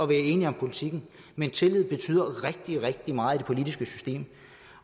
være enige om politikken men tillid betyder rigtig rigtig meget i det politiske system